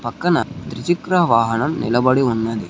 పక్కన ద్విచక్ర వాహనం నిలబడి ఉన్నది.